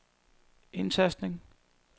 indtastning